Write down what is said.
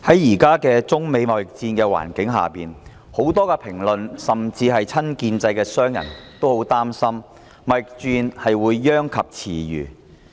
現時在中美貿易戰的環境下，很多評論甚至親建制的商人也很擔心貿易戰會殃及池魚。